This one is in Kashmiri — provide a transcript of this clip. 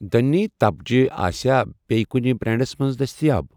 دٔنؠ تپجہٕ آسیا بییٚہِ کُنہِ بریٚنڑَس مَنٛز دٔستِیاب؟